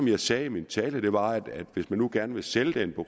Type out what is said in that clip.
jeg sagde i min tale var at hvis man nu gerne vil sælge det